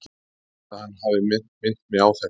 Það er fínt að hann hafi minnt mig á þetta.